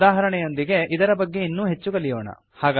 ಉದಾಹರಣೆಯೊಂದಿಗೆ ಇದರ ಬಗ್ಗೆ ಇನ್ನೂ ಹೆಚ್ಚು ಕಲಿಯೋಣ